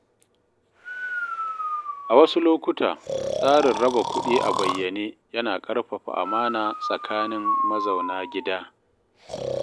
A wasu lokuta, tsarin raba kuɗi a bayyane yana ƙarfafa amana tsakanin mazauna gida.